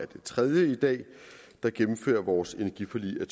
det tredje i dag der gennemfører vores energiforlig af